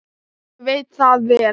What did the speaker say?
Ég veit það vel!